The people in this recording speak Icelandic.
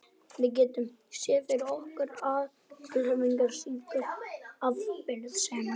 Við getum séð fyrir okkur afleiðingar slíkrar afbrýðisemi.